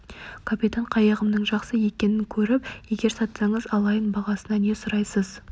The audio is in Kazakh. капитан қайығымның жақсы екенін көріп егер сатсаңыз алайын бағасына не сұрайсыз